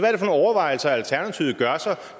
overvejelser alternativet gør sig